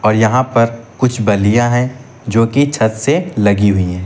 और यहां पर कुछ बल्लियां है जो की छत से लगी हुई हैं।